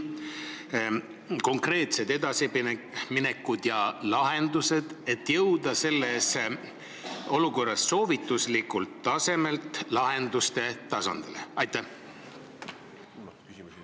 Millised on konkreetsed edasiminekud, et jõuda selles olukorras soovituslikult tasandilt lahenduste tasandile?